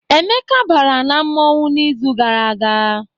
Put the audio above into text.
Emeka bara na mmọnwụ n'izu gara aga.